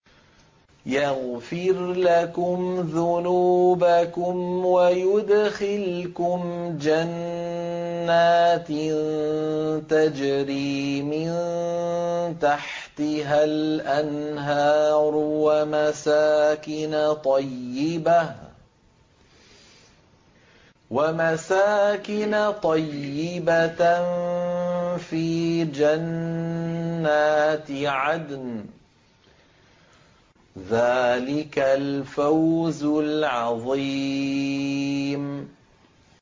يَغْفِرْ لَكُمْ ذُنُوبَكُمْ وَيُدْخِلْكُمْ جَنَّاتٍ تَجْرِي مِن تَحْتِهَا الْأَنْهَارُ وَمَسَاكِنَ طَيِّبَةً فِي جَنَّاتِ عَدْنٍ ۚ ذَٰلِكَ الْفَوْزُ الْعَظِيمُ